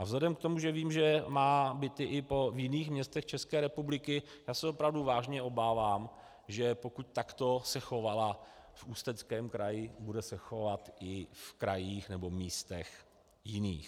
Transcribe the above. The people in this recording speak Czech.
A vzhledem k tomu, že vím, že má byty i v jiných městech České republiky, já se opravdu vážně obávám, že pokud takto se chovala v Ústeckém kraji, bude se chovat i v krajích nebo místech jiných.